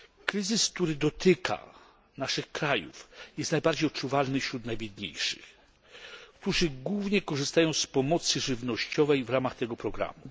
Kryzys, który dotyka nasze kraje, jest najbardziej odczuwalny wśród najbiedniejszych, którzy głównie korzystają z pomocy żywnościowej w ramach tego programu.